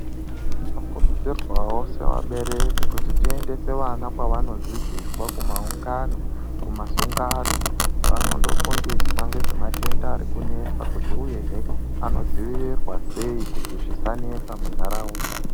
Munokuridzirwawo kuti vese vakaberekwa muendese vana kwavanodzidziswa kumaungano, kumasungano kwaanondofundiswa ngezve matenda arikunesa kuti uyehe anodziirirwa sei kuti zvisanesa munharaunda.